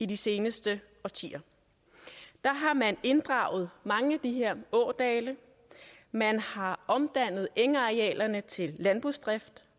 de seneste årtier der har man inddraget mange af de her ådale man har omdannet engarealerne til landbrugsdrift